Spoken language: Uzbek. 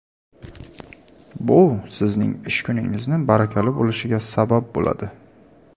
Bu sizning ish kuningizni barakali bo‘lishiga sabab bo‘ladi.